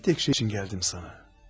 Bircə şey üçün gəldim sənə.